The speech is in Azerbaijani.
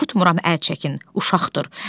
Oxutmuram, əl çəkin uşaqdır.